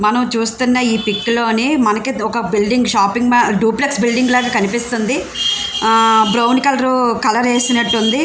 మనం చూస్తున్న ఈ పిక్ లోని మనకి ఒక building shopping mall duplex building లాగా కనిపిస్తుంది బ్రౌన్ కలర్ కలర్ ఎసినట్టు ఉంది.